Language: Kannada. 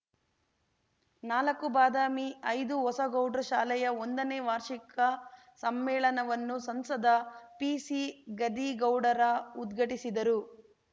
ನಾಲ್ಕುಬಾದಾಮಿಐದುಹೊಸಗೌಡ್ರ ಶಾಲೆಯ ಒಂದ ನೇ ವಾರ್ಷಿಕ ಸಮ್ಮೇಳನವನ್ನು ಸಂಸದ ಪಿಸಿಗದ್ದಿಗೌಡರ ಉದ್ಘಾಟಿಸಿದರು